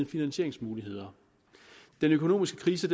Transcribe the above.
finansieringsmuligheder den økonomiske krise